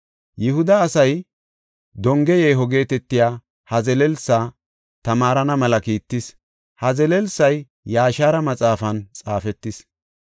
Yihuda asay, “Donge yeeho” geetetiya ha zelelsa tamaarana mela kiittis; ha zelelsay Yaashara maxaafan xaafetis.